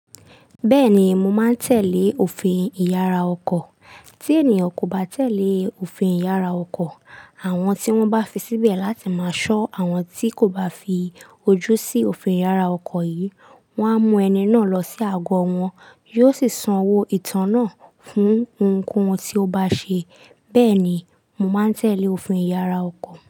Bẹ́ẹ̀ni, mo máa ń tẹ̀lé òfin ìyára ọkọ̀. Tí ènìyàn kò bá tẹ̀lé òfin ìyára ọkọ̀, àwọn tí wọ́n bá fi síbẹ̀ láti máa ṣọ́ àwọn tí kò bá fi ojú sí òfin ìyára ọkọ̀ yìí, wọ́n á mú ẹni náà lọ sí ago wọn, yóò sì sanwó ìtàn náà fún ohunkóhun tí ó bá ṣe. Bẹ́ẹ̀ ni, mo máa ń tẹ̀lé òfin ìyára ọkọ̀.